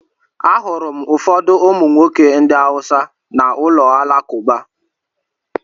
Ahụrụ m ụfọdụ ụmụ nwoke ndị Hausa n’ụlọ alakụba.